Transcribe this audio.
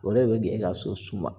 O de be k'e ka so suma.